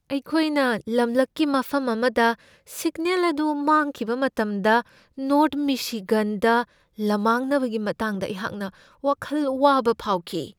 ꯑꯩꯈꯣꯏꯅ ꯂꯝꯂꯛꯀꯤ ꯃꯐꯝ ꯑꯃꯗ ꯁꯤꯒꯅꯦꯜ ꯑꯗꯨ ꯃꯥꯡꯈꯤꯕ ꯃꯇꯝꯗ ꯅꯣꯔ꯭ꯊ ꯃꯤꯁꯤꯒꯟꯗ ꯂꯝꯃꯥꯡꯅꯕꯒꯤ ꯃꯇꯥꯡꯗ ꯑꯩꯍꯥꯛꯅ ꯋꯥꯈꯜ ꯋꯥꯕ ꯐꯥꯎꯈꯤ ꯫